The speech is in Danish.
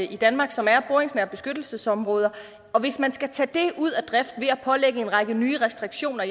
i danmark som er boringsnære beskyttelsesområder og hvis man skal tage dem ud af drift ved at pålægge en række nye restriktioner